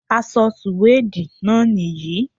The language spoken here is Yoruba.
Aṣọ sùwéèdì náà nìyí